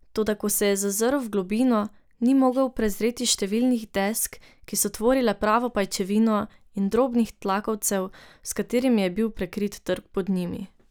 Toda ko se je zazrl v globino, ni mogel prezreti številnih desk, ki so tvorile pravo pajčevino, in drobnih tlakovcev, s katerimi je bil prekrit trg pod njimi.